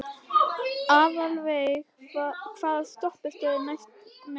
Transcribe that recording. Aðalveig, hvaða stoppistöð er næst mér?